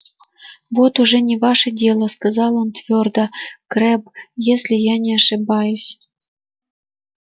вот уже не ваше дело сказал он твёрдо крэбб если я не ошибаюсь